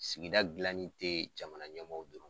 Sigida gilanin te jamana ɲɛmɔw dɔrɔn